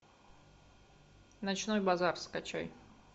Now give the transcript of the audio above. ночной базар скачай